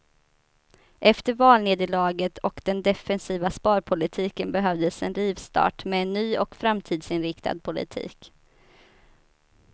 Efter valnederlaget och den defensiva sparpolitiken behövdes en rivstart med en ny och framtidsinriktad politik.